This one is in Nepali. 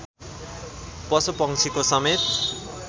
पशुपंक्षीको समेत